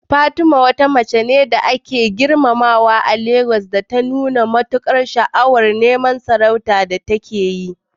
Fatima, wata mace da ake girmamawa a Legas, ta nuna matukar sha'awar neman sarauta da take yi.